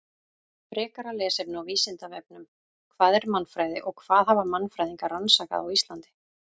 Frekara lesefni á Vísindavefnum: Hvað er mannfræði og hvað hafa mannfræðingar rannsakað á Íslandi?